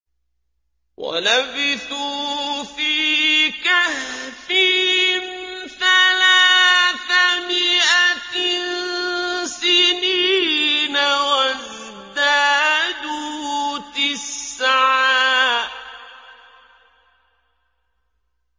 وَلَبِثُوا فِي كَهْفِهِمْ ثَلَاثَ مِائَةٍ سِنِينَ وَازْدَادُوا تِسْعًا